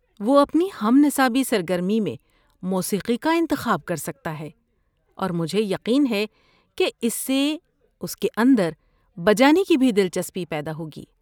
وہ اپنی ہم نصابی سرگرمی میں موسیقی کا انتخاب کر سکتا ہے اور مجھے یقین ہے کہ اس سے اس کے اندر بجانے کی بھی دلچسپی پیدا ہوگی۔